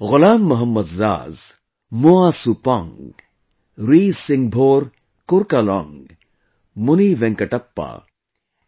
Ghulam Mohammad Zaz, Moa SuPong, RiSinghbor KurkaLong, MuniVenkatappa